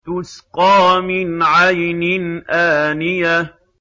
تُسْقَىٰ مِنْ عَيْنٍ آنِيَةٍ